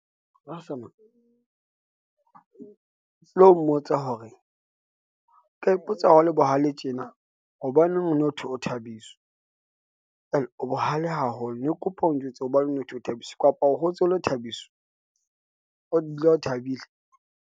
tlo mmotsa hore, ke ipotsa hore le bohale tjena. Hobaneng ho no hothwe, ho Thabiso o bohale haholo ne ke kopa o njwetse hobane ho thwe o Thabiso kapa o hotse o le Thabiso, o dula o thabile.